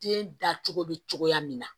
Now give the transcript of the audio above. Den dacogo bɛ cogoya min na